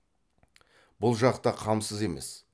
бұл жақ та қамсыз емес